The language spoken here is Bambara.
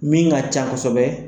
Min ka can kosɛbɛ.